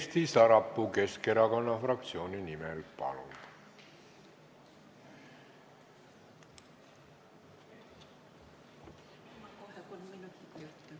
Kersti Sarapuu Keskerakonna fraktsiooni nimel, palun!